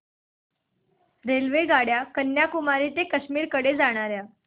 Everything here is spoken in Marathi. रेल्वेगाड्या कन्याकुमारी ते काश्मीर कडे जाणाऱ्या